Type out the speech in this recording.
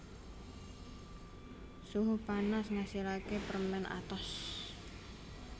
Suhu panas ngasilaké permèn atos